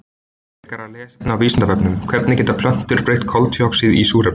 Frekara lesefni á Vísindavefnum: Hvernig geta plöntur breytt koltvíoxíði í súrefni?